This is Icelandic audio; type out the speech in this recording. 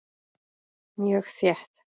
Mjög þétt.